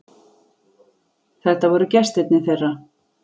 Þetta voru gestirnir þeirra.